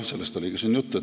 Sellest oli ka siin juttu.